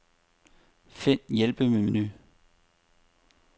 Find hjælpemenu.